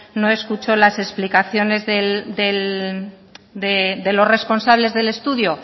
no escuchó las explicaciones de los responsables del estudio